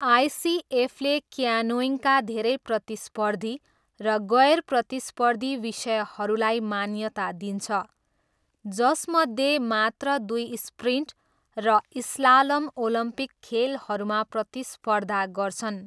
आइसिएफले क्यानोइङका धेरै प्रतिस्पर्धी र गैर प्रतिस्पर्धी विषयहरूलाई मान्यता दिन्छ, जसमध्ये मात्र दुई स्प्रिन्ट र स्लालम ओलम्पिक खेलहरूमा प्रतिस्पर्धा गर्छन्।